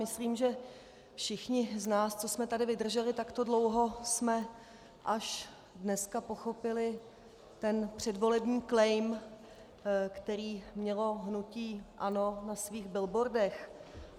Myslím, že všichni z nás, co jsme tady vydrželi takto dlouho, jsme až dneska pochopili ten předvolební claim, který mělo hnutí ANO na svých billboardech.